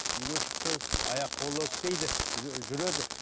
үйге шықты аяқ қолы істейді жүреді